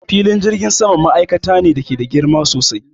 Filin jirgin sama ma'aikata ne da ke da girma sosai